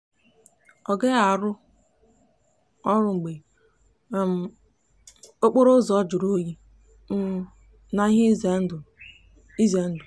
ọ gaghị ọrụ mgbe um okporoụzọ juru n'oyi um na ihe ize ndụ. ize ndụ.